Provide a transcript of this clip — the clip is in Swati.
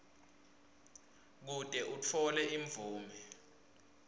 kute utfole imvume